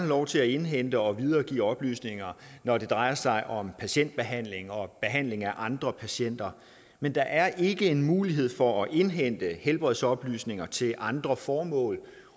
lov til at indhente og videregive oplysninger når det drejer sig om patientbehandling og behandling af andre patienter men der er ikke en mulighed for at indhente helbredsoplysninger til andre formål